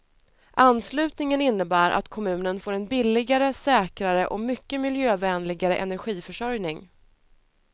Anslutningen innebär att kommunen får en billigare, säkrare och mycket miljövänligare energiförsörjning.